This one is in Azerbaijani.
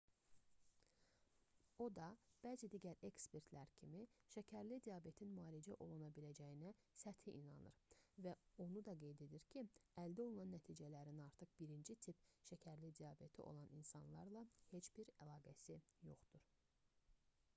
o da bəzi digər ekspertlər kimi şəkərli diabetin müalicə oluna biləcəyinə səthi inanır və onu da qeyd edir ki əldə olunan nəticələrin artıq 1-ci tip şəkərli diabeti olan insanlarla heç bir əlaqəsi yoxdur